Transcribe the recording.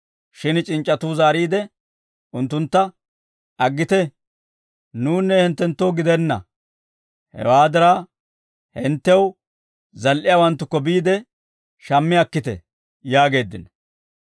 «Shin c'inc'c'atuu zaariide unttuntta, ‹Aggite, nuwunne hinttenttoo gidenna; hewaa diraa hinttew zal"iyaawanttukko biide shammi akkite› yaageeddino.